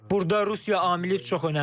Burda Rusiya amili çox önəmlidir.